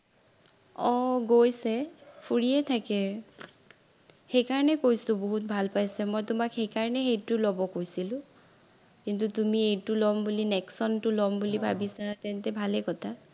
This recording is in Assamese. অ গৈছে ফুৰিয়েই থাকে, সেইকাৰণে কৈছো বহুত ভাল পাইছে মই তোমাক সেইকাৰণেই সেইটো লব কৈছিলো, কিন্তু তুমি এইটো লম বুলি নেক্সনটো লম বুলি ভাবিছা তেন্তে ভালেই কথা